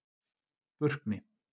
Burkni